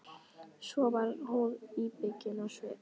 Svo varð hún íbyggin á svip.